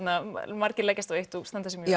margir leggjast á eitt og standa sig mjög